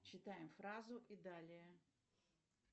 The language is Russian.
читаем фразу и далее